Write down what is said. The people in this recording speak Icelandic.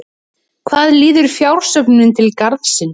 Hvað líður fjársöfnuninni til Garðsins?